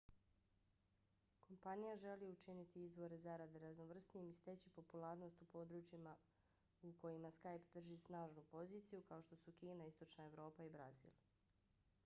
kompanija želi učiniti izvore zarade raznovrsnijim i steći popularnost u područjima u kojima skype drži snažnu poziciju kao što su kina istočna evropa i brazil